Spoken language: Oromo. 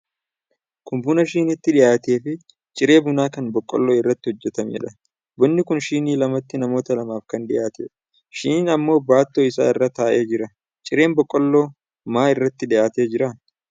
Kun buna shiniitti dhiyaate fi ciree bunaa kan boqqolloo irraa hojjatameedha. Bunni kun shinii lamatti namoota lamaaf kan dhiyaatedha. Shiniin ammoo baattoo isaa irra taa'ee jira. Cireen boqqolloo maa irratti dhiyaatee jira?